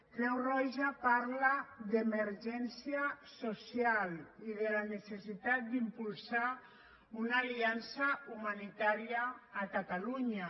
creu roja parla d’emergència social i de la necessitat d’impulsar una aliança humanitària a catalunya